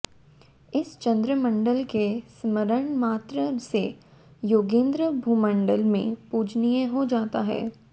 इस चंद्रमंडल के स्मरण मात्र से योगींद्र भूमंडल में पूजनीय हो जाता है